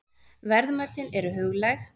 Verðmætin eru huglæg, staðreyndirnar hlutlægar.